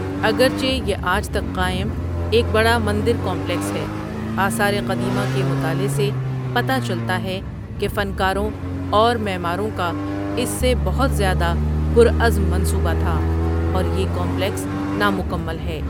اگرچہ یہ آج تک آج تک قائم ایک بڑا مندر کمپلیکس ہے، آثار قدیمہ کے مطالعے سے پتہ چلتا ہے کہ فنکاروں اور معماروں کا اس سے بہت زیادہ پر عزم منصوبہ تھا اور یہ کمپلیکس نامکمل ہے۔